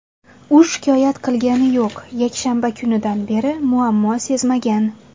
U shikoyat qilgani yo‘q, yakshanba kunidan beri muammo sezmagan.